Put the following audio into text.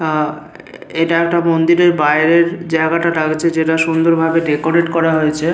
আ এইটা একটা মন্দিরের বাইরের জায়গাটা। টা হচ্ছে সুন্দর ভাবে ডেকোরেট করা হয়েছে।